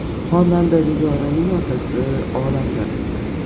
Xonanda Nigoraning otasi olamdan o‘tdi.